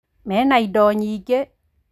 Mena indo nyingĩ